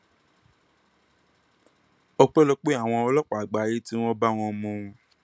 ọpẹlọpẹ àwọn ọlọpàá àgbáyé tí wọn bá wọn mú un